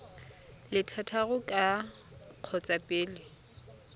le thataro ka kgotsa pele